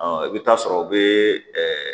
i bɛ taa sɔrɔ o bɛ